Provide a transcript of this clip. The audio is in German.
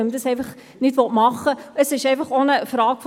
Wir kommen zur Abstimmung.